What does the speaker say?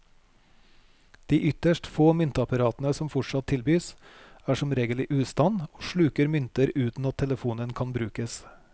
De ytterst få myntapparatene som fortsatt tilbys, er som regel i ustand og sluker mynter uten at telefonen kan brukes.